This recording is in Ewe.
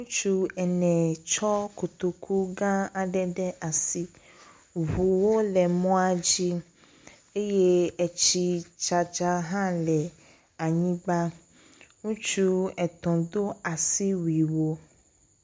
Ŋutsu ene tsɔ kotoku gã aɖe ɖ asi. Ŋuwo le mɔa dzi eye etsi dzadza hã le anyigba. Ŋutsu etɔ̃ do asiwuiwo.